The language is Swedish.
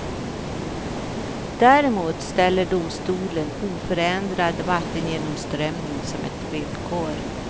Däremot ställer domstolen oförändrad vattengenomströmning som ett villkor.